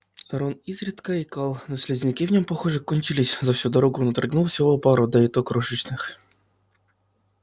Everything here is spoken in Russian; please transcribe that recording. рон изредка икал но слизняки в нём похоже кончились за всю дорогу он отрыгнул всего пару да и то крошечных